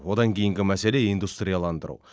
одан кейінгі мәселе индустрияландыру